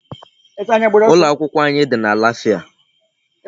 Ụlọ akwụkwọ anyị dị na Lafia.